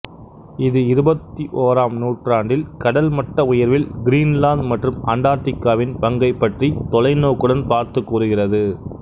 இது இருபத்தியோராம் நூற்றாண்டில் கடல் மட்ட உயர்வில் கிரீன்லாந்து மற்றும் அண்டார்க்டிகாவின் பங்கை பற்றி தொலைநோக்குடன் பார்த்து கூறுகிறது